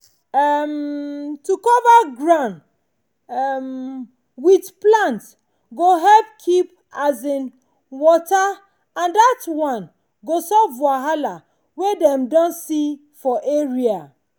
um to cover ground um with plant go help keep um water and that one go solve wahala wey dem don see for area.